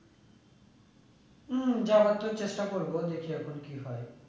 হম যাওয়ার তো চেষ্টা করবো দেখি এখন কি হয়ে